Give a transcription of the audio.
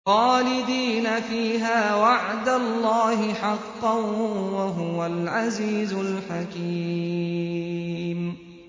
خَالِدِينَ فِيهَا ۖ وَعْدَ اللَّهِ حَقًّا ۚ وَهُوَ الْعَزِيزُ الْحَكِيمُ